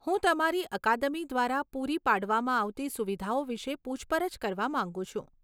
હું તમારી અકાદમી દ્વારા પૂરી પાડવામાં આવતી સુવિધાઓ વિશે પૂછપરછ કરવા માંગુ છું.